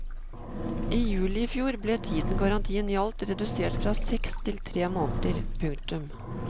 I juli i fjor ble tiden garantien gjaldt redusert fra seks til tre måneder. punktum